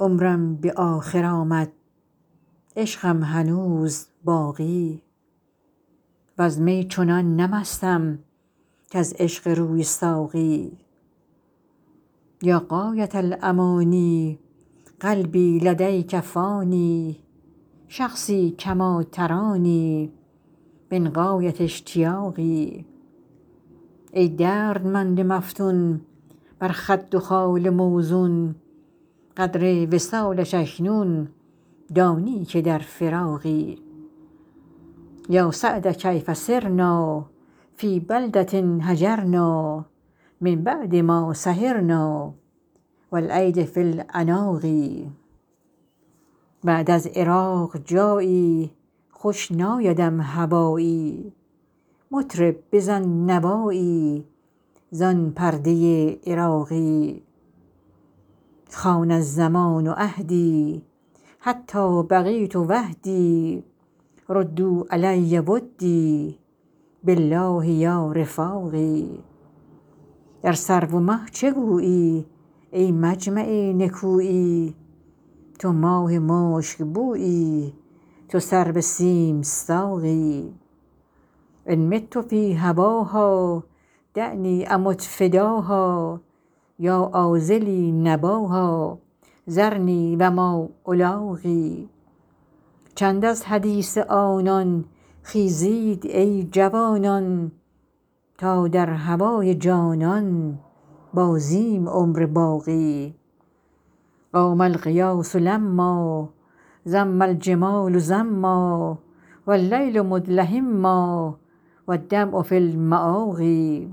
عمرم به آخر آمد عشقم هنوز باقی وز می چنان نه مستم کز عشق روی ساقی یا غایة الأمانی قلبی لدیک فانی شخصی کما ترانی من غایة اشتیاقی ای دردمند مفتون بر خد و خال موزون قدر وصالش اکنون دانی که در فراقی یا سعد کیف صرنا فی بلدة هجرنا من بعد ما سهرنا و الایدی فی العناق بعد از عراق جایی خوش نایدم هوایی مطرب بزن نوایی زان پرده عراقی خان الزمان عهدی حتی بقیت وحدی ردوا علی ودی بالله یا رفاقی در سرو و مه چه گویی ای مجمع نکویی تو ماه مشکبویی تو سرو سیم ساقی ان مت فی هواها دعنی امت فداها یا عاذلی نباها ذرنی و ما الاقی چند از حدیث آنان خیزید ای جوانان تا در هوای جانان بازیم عمر باقی قام الغیاث لما زم الجمال زما و اللیل مدلهما و الدمع فی المآقی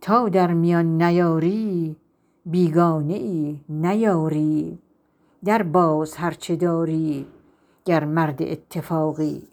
تا در میان نیاری بیگانه ای نه یاری درباز هر چه داری گر مرد اتفاقی